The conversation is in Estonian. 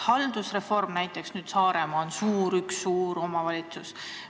Nüüd on näiteks Saaremaal üks suur omavalitsus.